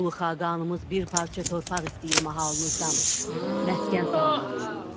Ulu Xaqanımız bir parça torpaq istəyir mahalınızdan, məskən salmaq üçün.